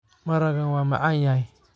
Maragan wa macanyhy.